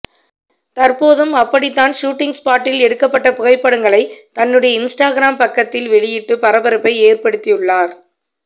தற்போதும் அப்படி தான் ஷூட்டிங் ஸ்பாட்டில் எடுக்கப்பட்ட புகைப்படங்களை தன்னுடைய இன்ஸ்டாகிராம் பக்கத்தில் வெளியிட்டு பரபரப்பை ஏற்படுத்தியுள்ளார்